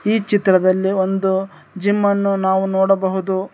ಈ ಚಿತ್ರದಲ್ಲಿ ಒಂದು ಜಿಮ್ ಅನ್ನು ನಾವು ನೋಡಬಹುದು.